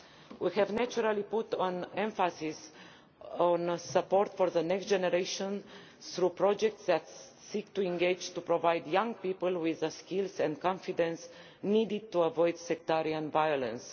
We have naturally emphasised support for the next generation, through projects that seek to provide young people with the skills and confidence needed to avoid sectarian violence.